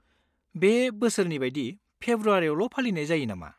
बे बोसोरनि बायदि फेब्रुवारियावल' फालिनाय जायो नामा?